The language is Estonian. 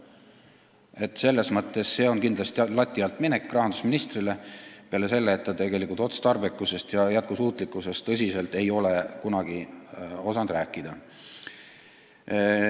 See on rahandusministril selles mõttes kindlasti lati alt minek, peale selle, et ta otstarbekusest ja jätkusuutlikkusest ei ole tõsiselt kunagi rääkida osanud.